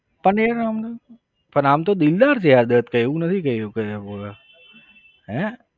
પણ એ આમ પણ આમ તો દિલદાર છે યાર દત્ત કઈ એવું નથી હે?